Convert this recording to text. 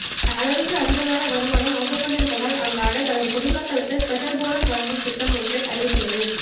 அளவுக்கு அதிகமான வருமானம் வந்து கொண்டிருப்பதால் அந்நாட்டு தனது குடிமக்களுக்கு ஸ்பெஷல் போனஸ் வழங்கும் திட்டம் ஒன்றை அறிவித்துள்ளது